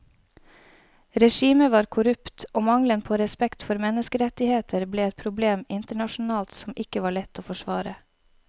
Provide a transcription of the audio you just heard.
Regimet var korrupt og mangelen på respekt for menneskerettigheter ble et problem internasjonalt som ikke var lett å forsvare.